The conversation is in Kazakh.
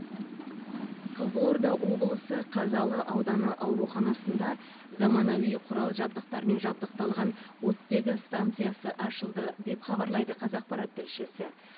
қызылорда облысы қазалы ауданы ауруханасында заманауи құрал жабдықтармен жабдықталған оттегі станциясы ашылды деп хабарлайды қазақпарат тілшісі